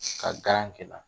Ka garan